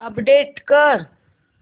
update कर